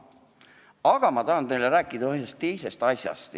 Aga ma tahan teile rääkida ühest teisest asjast.